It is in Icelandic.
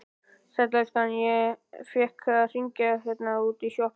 Sæll elskan, ég fékk að hringja hérna útí sjoppu.